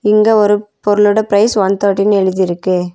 இங்க ஒரு பொருளோட பிரைஸ் ஒன் தேர்ட்டின்னு எழுதிருக்கு.